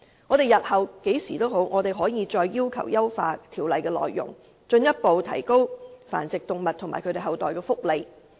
日後不論何時，我們仍然可以要求優化《修訂規例》的內容，進一步提高繁殖動物和其後代的福利。